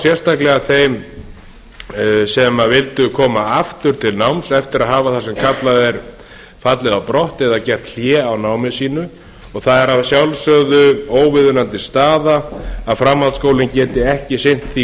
sérstaklega þeim sem vildu koma aftur til náms eftir að hafa það sem kallað er fallið á brott og gert hlé á námi sínu og það er að sjálfsögðu óviðunandi staða að framhaldsskóla geti ekki sinnt því